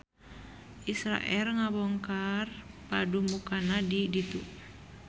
Israel ngabongkar padumukanna di ditu